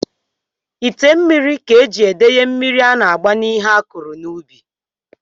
Ite mmiri ka e ji edenye mmiri a na-agba ihe a kụrụ n'ubi